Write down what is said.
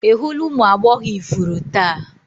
Ị hụla ụmụ agbọghọ ifuru taa?